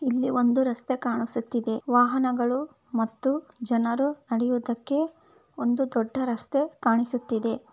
ಇಲ್ಲಿ ಒಂದು ರಸ್ತೆ ಕಾಣಿಸುತ್ತಿದೆ ವಾಹನಗಳು ಮತ್ತು ಜನರು ನಡೆಯುವುದಕ್ಕೆ ಒಂದು ದೊಡ್ಡ ರಸ್ತೆ ಕಾಣಿಸುತ್ತಿದೆ.